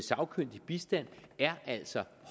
sagkyndig bistand er altså